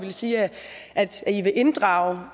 sige at i vil inddrage